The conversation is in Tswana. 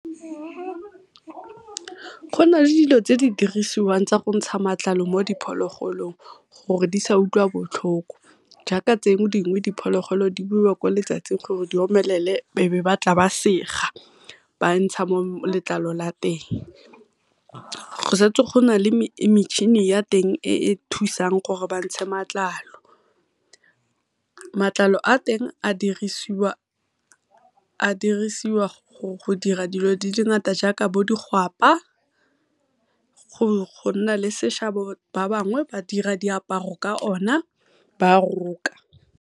Go na le dilo tse di dirisiwang tsa go ntsha matlalo mo diphologolong gore di sa utlwa botlhoko, jaaka tse dingwe diphologolo di beiwa ko letsatsing gore di omelele e be ba tla ba sega ba ntsha letlalo la teng. Go setse go na le metšhini ya teng e e thusang gore bantshe matlalo, matlalo a teng a dirisiwa go dira dilo tse di ngata jaaka bo digwapa go nna le seshabo ba bangwe ba dira diaparo ka o na ba roka.